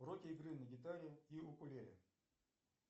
уроки игры на гитаре и укулеле